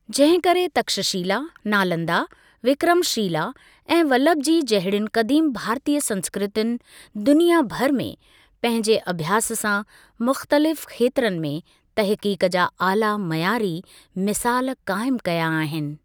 जहिं करे तक्षशिला, नालंदा, विक्रमशिला ऐं वल्लभी जहिड़ियुनि क़दीम भारतीय संस्कृतियुनि दुनिया भरि में पंहिंजे अभ्यास सां मुख़्तलिफ़ खेत्रनि में तहक़ीक़ जा आला मयारी मिसालु क़ाइमु कया आहिनि।